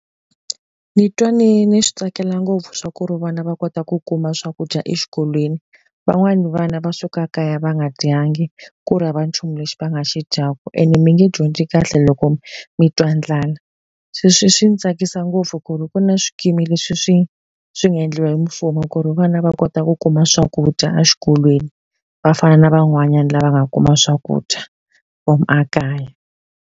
Ni twa ni ni swi tsakela ngopfu swa ku ri vana va kota ku kuma swakudya exikolweni. Van'wani vana va suka kaya va nga dyangi, ku ri hava nchumu lexi va nga xi dyaka and mi nge dyondzi kahle loko mi twa ndlala. Se leswi swi ni tsakisa ngopfu ku ri ku na swikimi leswi swi swi nga endliwa hi mfumo ku ri vana va kota ku kuma swakudya exikolweni, va fana na van'wanyana lava nga kuma swakudya from ekaya.